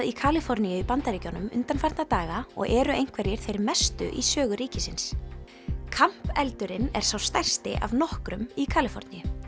í Kaliforníu í Bandaríkjunum undanfarna daga og eru einhverjir þeir mestu í sögu ríkisins eldurinn er sá stærsti af nokkrum í Kaliforníu